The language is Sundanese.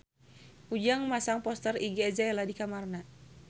Ujang masang poster Iggy Azalea di kamarna